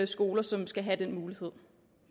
skoler som skal have den mulighed